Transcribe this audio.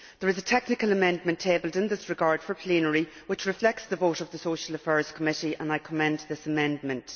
There is a technical amendment tabled in this regard for plenary which reflects the vote of the Social Affairs Committee, and I commend this amendment.